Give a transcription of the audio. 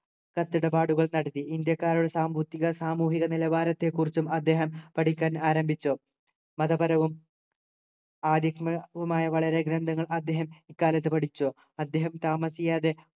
കത്തിടപാടുകൾ നടത്തി ഇന്ത്യക്കാരുടെ സാമ്പത്തിക സാമൂഹിക നിലവാരത്തെക്കുറിച്ചും അദ്ദേഹം പഠിക്കാൻ ആരംഭിച്ചു മതപരവും ആരിത്മ് വുമായ വളരെ ഗ്രന്ഥങ്ങൾ അദ്ദേഹം ഇക്കാലത്തു പേടിച്ചു അദ്ദേഹം താമസിയാതെ